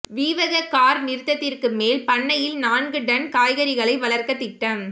வீவக car நிறுத்தத்திற்கு மேல் பண்ணையில் நான்கு டன் காய்கறிகளை வளர்க்க திட்டம்